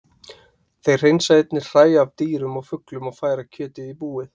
Þeir hreinsa einnig hræ af dýrum og fuglum og færa kjötið í búið.